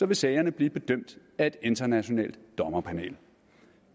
vil sagerne blive bedømt af et internationalt dommerpanel